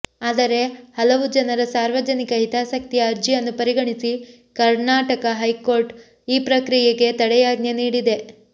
ಆದರೆ ಹಲವು ಜನರ ಸಾರ್ವಜನಿಕ ಹಿತಾಸಕ್ತಿಯ ಅರ್ಜಿಯನ್ನು ಪರಿಗಣಿಸಿ ಕರ್ನಾಟಕ ಹೈಕೋರ್ಟ್ ಈ ಪ್ರಕ್ರಿಯೆಗೆ ತಡೆಯಾಜ್ಞೆ ನೀಡಿದೆ